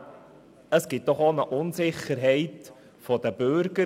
Das verursacht doch Unsicherheit bei den Bürgern.